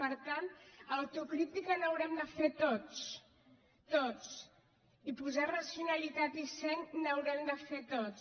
per tant d’autocrítica n’haurem de fer tots tots i posar racionalitat i seny ho haurem de fer tots